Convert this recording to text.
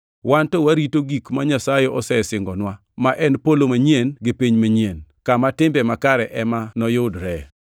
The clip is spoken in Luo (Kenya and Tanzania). Wan to warito gik ma Nyasaye osesingonwa, ma en polo manyien gi piny manyien, kama timbe makare ema noyudre.